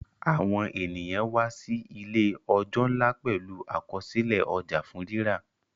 Àwọn ènìyàn wá sí ìlé ọja nlá pẹlú Àkọsílẹ̀ ọjà fún rírà.